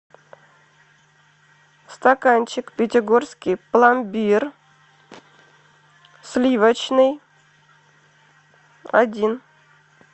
стаканчик пятигорский пломбир сливочный один